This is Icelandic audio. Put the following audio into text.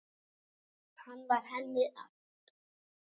Hann var henni allt.